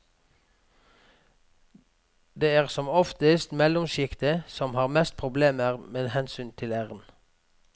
Det er som oftest mellomsjiktet som har mest problemer med hensyn til æren.